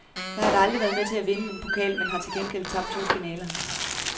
Jeg har aldrig været med til at vinde en pokal, men har til gengæld tabt to finaler.